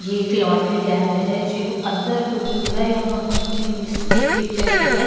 ये अक laundry lab है जो अन्दर तो नहीं दिख रहा यहाँ हमने इसकी पिक्चर ली है।